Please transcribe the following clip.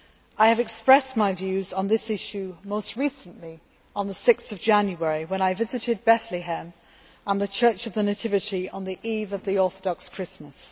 I expressed my views on this issue most recently on 6 January when I visited Bethlehem and the Church of the Nativity on the eve of the Orthodox Christmas.